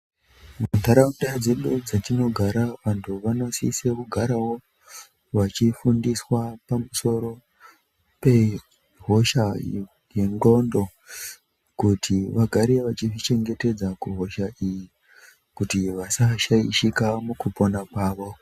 Muntaraunda dzedu dzetinogara vantu vanosise kugarawo vachifundiswa pamusoro pehosha iyo yendxondo, kuti vagare vachizvichengetedza kuhosha iyi kuti vasashaishika mukupona kwavo.